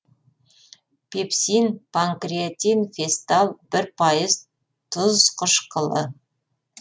пепсин панкреатин фестал бір пайыз тұз қышқылы